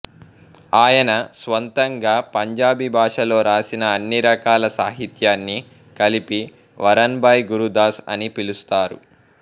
ఆయన స్వంతంగా పంజాబీ భాషలో రాసిన అన్ని రకాల సాహిత్యాన్నీ కలిపి వరన్ భాయ్ గురుదాస్ అని పిలుస్తారు